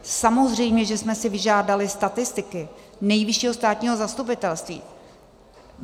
Samozřejmě že jsme si vyžádali statistiky Nejvyššího státního zastupitelství.